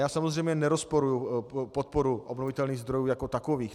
Já samozřejmě nerozporuji podporu obnovitelných zdrojů jako takových.